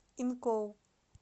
инкоу